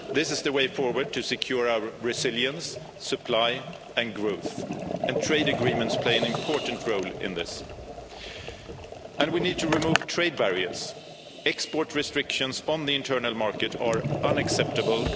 This is the way forward to secure our resilience, supply and growth, and trade agreements play an important role in this. And we need to remove trade barriers. Export restrictions on the internal market are unacceptable